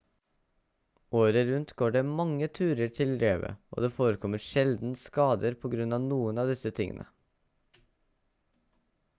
året rundt går det mange turer til revet og det forekommer sjelden skader på grunn av noen av disse tingene